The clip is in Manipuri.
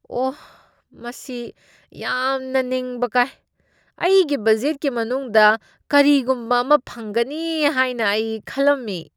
ꯑꯣꯍ, ꯃꯁꯤ ꯌꯥꯝꯅ ꯅꯤꯡꯕ ꯀꯥꯏ ꯫ ꯑꯩꯒꯤ ꯕꯖꯦꯠꯀꯤ ꯃꯅꯨꯡꯗ ꯀꯔꯤꯒꯨꯝꯕ ꯑꯃ ꯐꯪꯒꯅꯤ ꯍꯥꯏꯅ ꯑꯩ ꯈꯜꯂꯝꯃꯤ ꯫